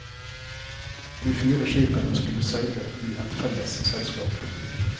De fire skipene skulle seile i et felles selskap.